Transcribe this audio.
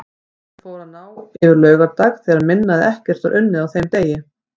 Helgin fór að ná yfir laugardag þegar minna eða ekkert var unnið á þeim degi.